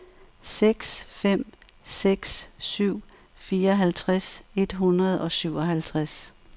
seks fem seks syv fireoghalvtreds et hundrede og syvoghalvtreds